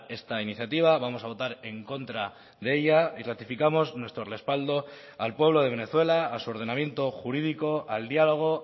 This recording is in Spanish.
esta iniciativa vamos a votar en contra de ella y ratificamos nuestro respaldo al pueblo de venezuela a su ordenamiento jurídico al diálogo